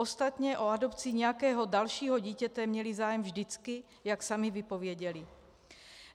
Ostatně o adopci nějakého dalšího dítěte měli zájem vždycky, jak sami vypověděli.